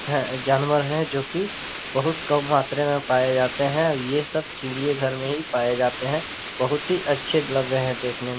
ह जानवर है जो की बहुत कम मात्रा में पाया जाते है और ये सव चिड़िये घर में ही पाए जाते है बहुत ही अच्छे लग रहे है देखने--